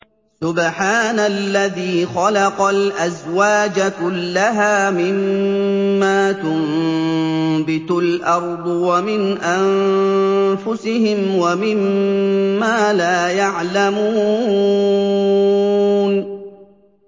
سُبْحَانَ الَّذِي خَلَقَ الْأَزْوَاجَ كُلَّهَا مِمَّا تُنبِتُ الْأَرْضُ وَمِنْ أَنفُسِهِمْ وَمِمَّا لَا يَعْلَمُونَ